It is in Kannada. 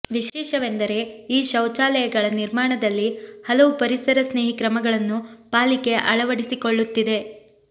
ವಿಶೇಷವೆಂದರೆ ಈ ಶೌಚಾಲಯಗಳ ನಿರ್ಮಾಣದಲ್ಲಿ ಹಲವು ಪರಿಸರ ಸ್ನೇಹಿ ಕ್ರಮಗಳನ್ನು ಪಾಲಿಕೆ ಅಳವಡಿಸಿಕೊಳ್ಳುತ್ತಿದೆ